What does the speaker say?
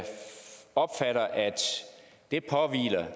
opfatter at det